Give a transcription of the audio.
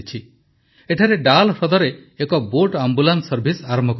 ଏଠାରେ ଡାଲ୍ ହ୍ରଦରେ ଏକ ବୋଟ୍ ଆମ୍ବୁଲାନ୍ସ ସର୍ଭିସ୍ ଆରମ୍ଭ କରାଯାଇଛି